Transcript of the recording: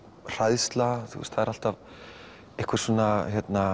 hræðsla þú veist það er alltaf einhver svona